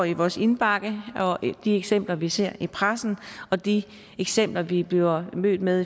i vores indbakke de eksempler vi ser i pressen og de eksempler vi bliver mødt med